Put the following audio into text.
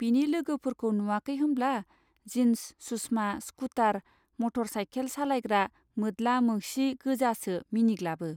बिनि लोगोफोरखौ नुवाखै होमब्ला जिन्स सुस्मा स्कुटार मटर साइखेल सालायग्रा मोद्ला मोंसि गोजासो मिनिग्लाबो.